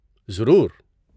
ضرور!